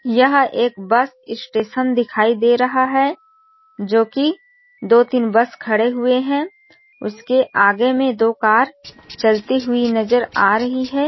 यह एक bus station दिखाई दे रहा है जो की दो तीन बस खड़े हुए है उसके आगे में दो कार चलती हुई नज़र आ रही है।